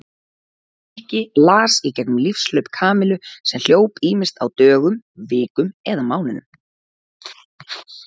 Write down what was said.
Nikki las í gegnum lífshlaup Kamillu sem hljóp ýmist á dögum, vikum eða mánuðum.